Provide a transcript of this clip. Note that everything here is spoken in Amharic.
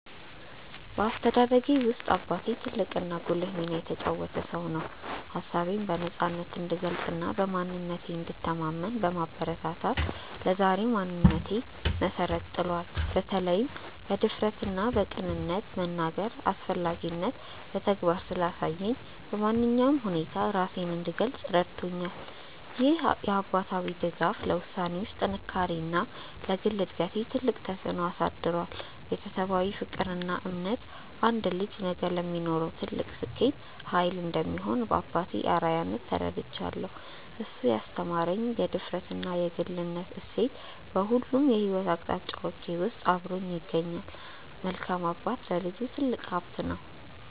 በአስተዳደጌ ውስጥ አባቴ ትልቅና ጉልህ ሚና የተጫወተ ሰው ነው። ሀሳቤን በነፃነት እንድገልጽና በማንነቴ እንድተማመን በማበረታታት ለዛሬው ማንነቴ መሰረት ጥሏል። በተለይም በድፍረትና በቅንነት የመናገርን አስፈላጊነት በተግባር ስላሳየኝ፣ በማንኛውም ሁኔታ ውስጥ ራሴን እንድገልጽ ረድቶኛል። ይህ አባታዊ ድጋፍ ለውሳኔዎቼ ጥንካሬና ለግል እድገቴ ትልቅ ተጽዕኖ አሳድሯል። ቤተሰባዊ ፍቅርና እምነት አንድ ልጅ ነገ ለሚኖረው ስኬት ትልቅ ኃይል እንደሚሆን በአባቴ አርአያነት ተረድቻለሁ። እሱ ያስተማረኝ የድፍረትና የግልነት እሴት በሁሉም የሕይወት አቅጣጫዎቼ ውስጥ አብሮኝ ይገኛል። መልካም አባት ለልጁ ትልቅ ሀብት ነው።